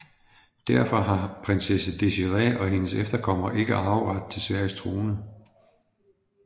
Derfor har prinsesse Désirée og hendes efterkommere ikke arveret til Sveriges trone